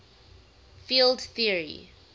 field theory